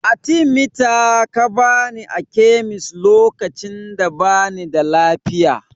Atimita aka bani a kemis lokacin da bani da lafiya